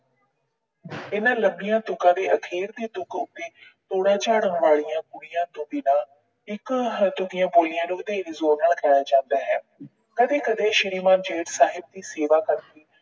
ਇਹਨਾਂ ਲੰਬੀਆਂ ਤੁਕਾਂ ਦੇ ਅਖੀਰ ਦੀ ਤੁਕ ਉਤੇ ਝਾੜਨ ਵਾਲੀਆਂ ਕੁੜੀਆਂ ਤੋਂ ਬਿਨਾਂ ਇੱਕ ਹੱਦ ਦੀਆਂ ਕੁੜੀਆਂ ਨੂੰ ਵਧੇਰੇ ਜ਼ੋਰ ਨਾਲ ਕਿਹਾ ਜਾਂਦਾ ਹੈ। ਕਦੇ ਕਦੇ ਸ਼੍ਰੀਮਾਨ ਜੇਠ ਸਾਹਿਬ ਦੀ ਸੇਵਾ ਕਰਕੇ